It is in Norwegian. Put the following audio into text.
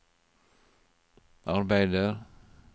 arbeider